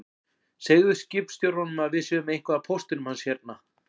Segðu skipstjóranum að við séum með eitthvað af póstinum hans hérna